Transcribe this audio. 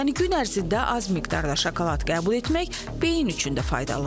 Yəni gün ərzində az miqdarda şokolad qəbul etmək beyin üçün də faydalıdır.